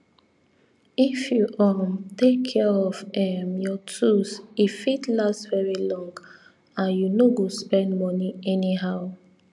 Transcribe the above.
if you um take care of um your tools e fit last very long and you no go spend moni anyhow